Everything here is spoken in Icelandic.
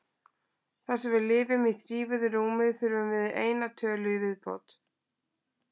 Þar sem við lifum í þrívíðu rúmi þurfum við eina tölu í viðbót.